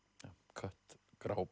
kött grá